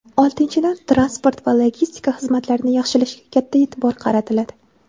Oltinchidan, transport va logistika xizmatlarini yaxshilashga katta e’tibor qaratiladi.